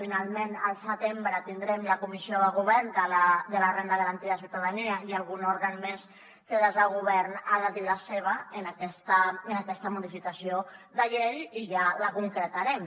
finalment al setembre tindrem la comissió de govern de la renda garantida de ciutadania i algun òrgan més que des del govern ha de dir la seva en aquesta modificació de llei i ja la concretarem